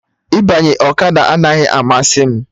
Ịbanye ọkada anaghị amasị m